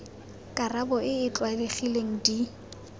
karabo e e tlwaelegileng di